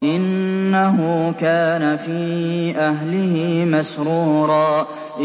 إِنَّهُ كَانَ فِي أَهْلِهِ مَسْرُورًا